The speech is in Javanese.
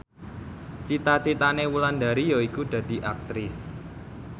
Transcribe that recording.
cita citane Wulandari yaiku dadi Aktris